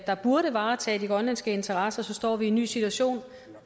der burde varetage de grønlandske interesser så står vi i en ny situation